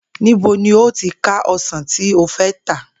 Níbo ni o óò ti ka o̩sàn tí o fé̩ ta?